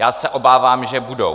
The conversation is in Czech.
Já se obávám, že budou.